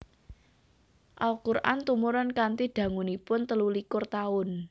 Al Qur an tumurun kanthi dangunipun telulikur taun